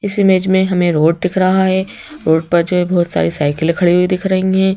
इस इमेज में हमें रोड दिख रहा है रोड पर जो है बहुत सारी साइकिल ये खड़ी हुई दिख रही हैं।